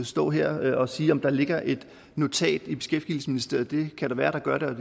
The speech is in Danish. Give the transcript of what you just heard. stå her og sige om der ligger et notat i beskæftigelsesministeriet det kan da være at der gør det og